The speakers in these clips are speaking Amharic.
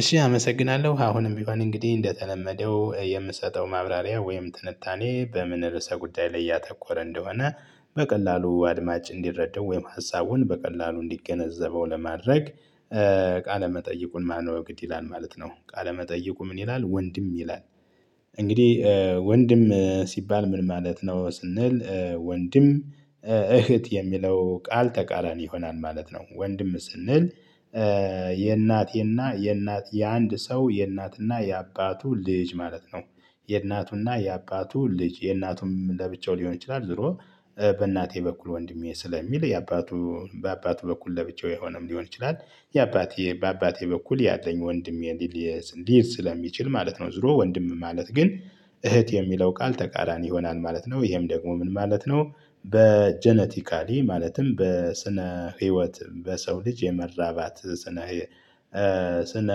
እሺ አመሰግናለሁ አሁንም ቢሆን እንግዲህ እንደተለመደው የምሰጠው ማብራሪያ ወይም ትንታኔ በምን ርዕሰ ጉዳይ ላይ እያተኮረ እንደሆነ በቀላሉ አድማጭ እንዲረዳው ወይም ሀሳቡን በቀላሉ እንዲገነዘበው ለማድረግ ቃለ መጠይቁን ማንበብ ግድ ይላል ማለት ነው። ቃለ መጠይቁ ምን ይላል ወንድም ይላል? እንግዲህ ወንድም ሲባል ምን ማለት ነው? ስንል ወንድም እህት የሚለው ቃል ተቃራኒ ይሆናል ማለት ነው። ወንድም ስንል የእናት የእናት የእናት የአንድ ሰው የእናትና የአባቱ ልጅ ማለት ነው። የእናቱና የአባቱ ልጅ የእናቱም ለብቻው ሊሆን ይችላል። ዝሮ በእናቴ በኩል ወንድሜ ስለሚል የአባቱ በአባቱ በኩል ለብቻው የሆነም ሊሆን ይችላል። የአባቴ በአባቴ በኩል ያለኝ ወንድሜ ሊል ሊል ስለሚችል ማለት ነው። ዝሮ ወንድም ማለት ግን እህት የሚለው ቃል ተቃራኒ ይሆናል ማለት ነው። ይሄም ደግሞ ምን ማለት ነው? በጀነቲካሊ ማለትም በስነ ህይወት በሰው ልጅ የመራባት ስነ ስነ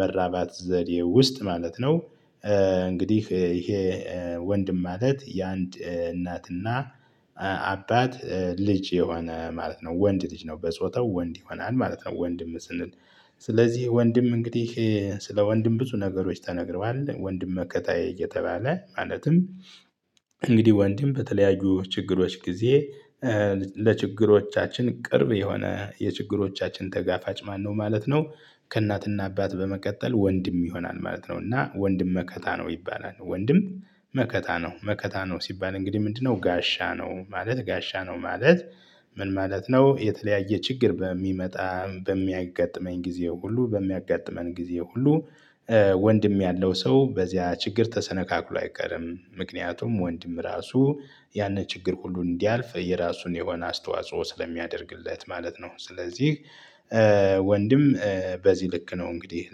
መራባት ዘዴ ውስጥ ማለት ነው። እንግዲህ ይሄ ወንድም ማለት የአንድ እናትና አባት ልጅ የሆነ ማለት ነው። ወንድ ልጅ ነው በጾታው ወንድ ይሆናል ማለት ነው። ወንድም ስንል ስለዚህ ወንድም እንግዲህ ስለ ወንድም ብዙ ነገሮች ተነግረዋል። ወንድም መከታየት እየተባለ ማለትም እንግዲህ ወንድም በተለያዩ ችግሮች ጊዜ ለችግሮቻችን ቅርብ የሆነ የችግሮቻችን ተጋፋጭ ማነው ማለት ነው? ከእናትና አባት በመቀጠል ወንድም ይሆናል ማለት ነው። እና ወንድም መከታ ነው ይባላል። ወንድም መከታ ነው መከታ ነው ሲባል እንግዲህ ምንድነው? ጋሻ ነው ማለት ጋሻ ነው ማለት። ምን ማለት ነው? የተለያየ ችግር በሚመጣ በሚያጋጥመኝ ጊዜ ሁሉ በሚያጋጥመኝ ጊዜ ሁሉ ወንድም ያለው ሰው በዚያ ችግር ተሰነጋግሎ አይቀርም። ምክንያቱም ወንድም ራሱ ያንን ችግር ሁሉ እንዲያልፍ የራሱን የሆነ አስተዋጽኦ ስለሚያደርግለት ማለት ነው። ስለዚህ ወንድም በዚህ ልክ ነው እንግዲህ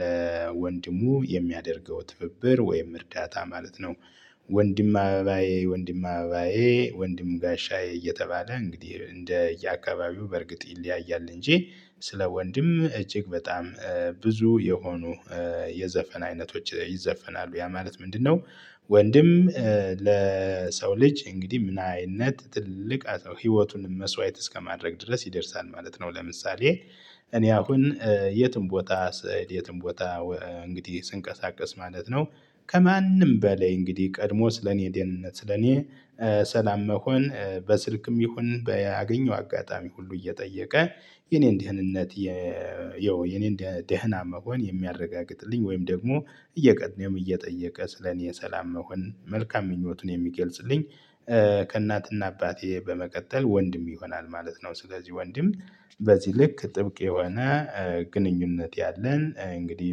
ለወንድሙ የሚያደርገው ትብብር ወይም እርዳታ ማለት ነው። ወንድም አበባዬ ወንድም አበባዬ ወንድም ጋሻዬ እየተባለ እንግዲህ እንደ የአካባቢው በርግጥ ይለያያል እንጂ። ስለ ወንድም እጅግ በጣም ብዙ የሆኑ የዘፈን አይነቶች ይዘፈናሉ። ያ ማለት ምንድነው? ወንድም ለሰው ልጅ እንግዲህ ምን አይነት ትልቅ ህይወቱን መስዋዕት እስከማድረግ ድረስ ይደርሳል ማለት ነው። ለምሳሌ እኔ አሁን የትም ቦታ የትም ቦታ እንግዲህ ስንቀሳቀስ ማለት ነው። ከማንም በላይ እንግዲህ ቀድሞ ስለኔ ደህንነት ስለኔ ሰላም መሆን በስልክም ይሁን በያገኘው አጋጣሚ ሁሉ እየጠየቀ የኔን ደህንነት። የው የኔን ደህና መሆን የሚያረጋግጥልኝ ወይም ደግሞ እየቀየመ እየጠየቀ ስለኔ ሰላም መሆን መልካም ምኞቱን የሚገልጽልኝ። ከእናትና አባቴ በመቀጠል ወንድም ይሆናል ማለት ነው። ስለዚህ ወንድም በዚህ ልክ ጥብቅ የሆነ ግንኙነት ያለን እንግዲህ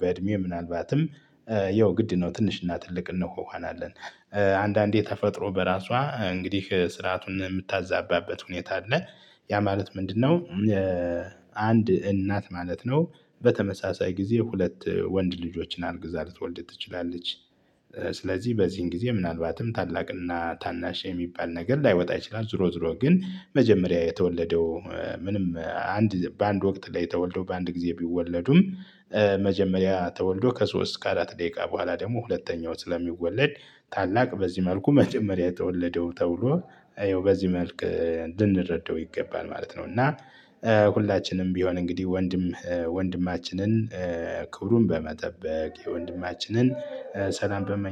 በእድሜው ምናልባትም ይኸው ግድ ነው ትንሽና ትልቅ እንሆናለን። አንዳንዴ ተፈጥሮ በራሷ እንግዲህ ስርዓቱን የምታዛባበት ሁኔታ አለ። ያ ማለት ምንድነው? አንድ እናት ማለት ነው። በተመሳሳይ ጊዜ ሁለት ወንድ ልጆችን አርግዛ ልትወልድ ትችላለች። ስለዚህ በዚህን ጊዜ ምናልባትም ታላቅና ታናሽ የሚባል ነገር ላይወጣ ይችላል። ዝሮ ዝሮ ግን መጀመሪያ የተወለደው ምንም አንድ በአንድ ወቅት ላይ ተወልዶ በአንድ ጊዜ ቢወለዱም። መጀመሪያ ተወልዶ ከሶስት አራት ደቂቃ በኋላ ደግሞ ሁለተኛው ስለሚወለድ። ታላቅ በዚህ መልኩ መጀመሪያ የተወለደው ተብሎ ይኸው በዚህ መልክ ልንረዳው ይገባል ማለት ነው። እና ሁላችንም ቢሆን እንግዲህ ወንድም ወንድማችንን ክብሩን በመጠበቅ የወንድማችንን ሰላም በመ